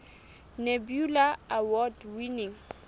nebula award winning